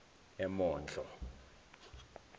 emondlo